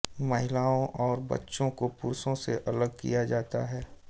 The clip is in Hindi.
महिलाओं और बच्चों को पुरुषों से अलग किया जाता है